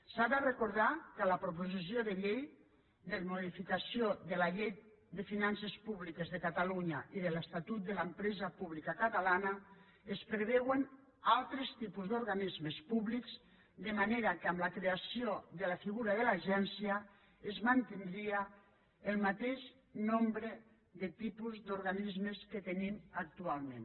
s’ha de recordar que en la proposició de llei de modificació de la llei de finances públiques de catalunya i de l’estatut de l’empresa pública catalana es preveuen altres tipus d’organismes públics de manera que amb la creació de la figura de l’agència es mantindria el mateix nombre de tipus d’organismes que tenim actualment